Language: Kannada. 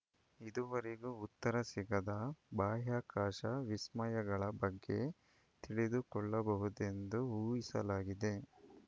ಇದುವರೆಗೂ ಉತ್ತರ ಸಿಗದ ಬಾಹ್ಯಾಕಾಶ ವಿಸ್ಮಯಗಳ ಬಗ್ಗೆ ತಿಳಿದುಕೊಳ್ಳಬಹುದೆಂದು ಊಹಿಸಲಾಗಿದೆ